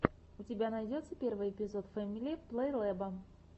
у тебя найдется первый эпизод фэмили плейлэба